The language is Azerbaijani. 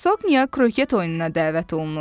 Hercoqnya Kroket oyununa dəvət olunur.